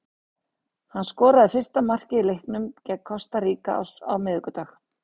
Hann skoraði fyrsta markið í leiknum gegn Kosta Ríka á miðvikudag.